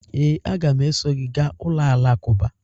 Ee, a ga m eso gị gaa ụlọ alakụba.